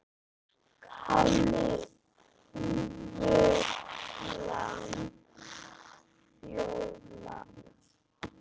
Kálfur, lamb, folald.